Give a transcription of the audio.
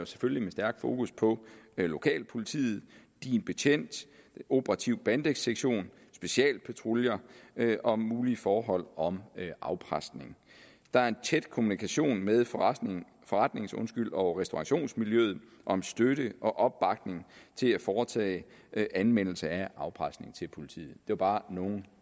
selvfølgelig med stærk fokus på lokalpolitiet din betjent operativ bandesektion og specialpatruljer om mulige forhold om afpresning der er en tæt kommunikation med forretnings forretnings og restaurationsmiljøet om støtte og opbakning til at foretage anmeldelse af afpresning til politiet det er bare nogle